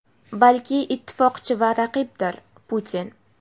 balki ittifoqchi va raqibdir — Putin.